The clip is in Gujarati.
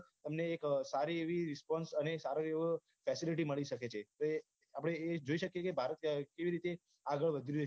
તમને એક સારી એવી respons અનેસારો એવો facility મળી શકે છે અને એ આપડે એ જોઈ શકીએ છે ભારત કેવી રીતે આગળ વધી રહ્યું છે